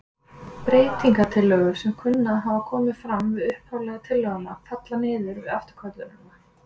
Breytingatillögur sem kunna að hafa komið fram við upphaflegu tillöguna falla og niður við afturköllunina.